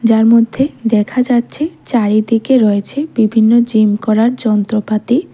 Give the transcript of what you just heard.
এর মধ্যে দেখা যাচ্ছে চারিদিকে রয়েছে বিভিন্ন জিম করার যন্ত্রপাতি।